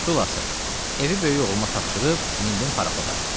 Xülasə, evi böyük oğluma tapşırıb, mindim paraxoda.